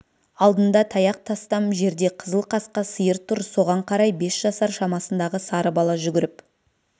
алдында таяқ тастам жерде қызыл қасқа сиыр тұр соған қарай бес жасар шамасындағы сары бала жүгіріп